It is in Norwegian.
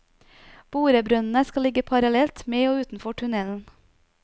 Borebrønnene skal ligge parallelt med og utenfor tunnelen.